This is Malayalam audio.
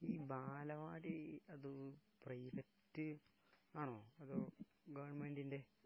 ഈ ബാലവാടി...അത് പ്രൈവറ്റ് ആണോ? അതോ ഗവൺമെന്റിന്റെ...